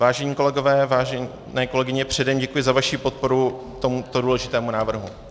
Vážení kolegové, vážené kolegyně, předem děkuji za vaši podporu tohoto důležitého návrhu.